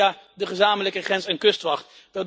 Dat doen we via de gezamenlijke grens en kustwacht.